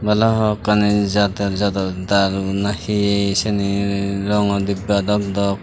balokkani jader jador daru na hi sini rongo dibba dok dok.